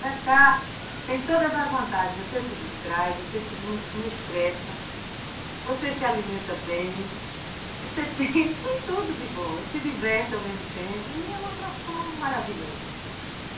Pescar tem todas as vantagens, você se distrai, você não se estressa, você se alimenta bem, você tem tudo de bom, se diverte ao mesmo tempo e é uma profissão maravilhosa.